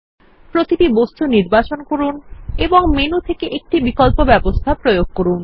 প্রতিটি বস্তু নির্বাচন করুন এবং মেনু থেকে প্রতিটি বিকল্প ব্যবস্থা প্রয়োগ করুন